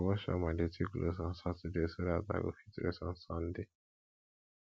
i go wash all my dirty clothes on saturday so dat i go fit rest on sunday